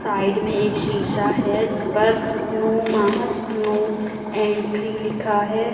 Side में एक शीशा है जिस पर नो मास्क नो एंट्री लिखा है।